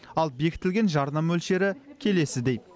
ал бекітілген жарна мөлшері келесідей